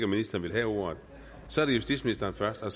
ministeren ønsker ordet så er det justitsministeren først og